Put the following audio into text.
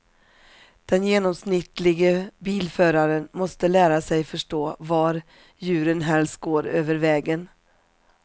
Den genomsnittlige bilföraren måste lära sig förstå var djuren helst går över vägen.